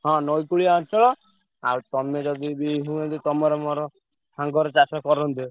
ହଁ ନଈ କୂଳିଆ ଅଞ୍ଚଳ ଆଉ ତମେ ଯଦି ବି ହୁଅନ୍ତେ ତମର ମୋର ସାଙ୍ଗର ଚାଷ କରନ୍ତେ।